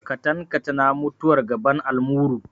Katankatana mutuwar gaban almuru.